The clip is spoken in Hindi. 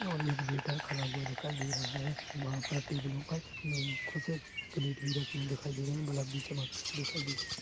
और एक वेटर खड़ा हुआ दिखाई दे रहा है वहाँ पर टेबलो पर अम्म कुछ प्लेट भी रखे दिखाई दे रहे है दिखाई दे रहे है।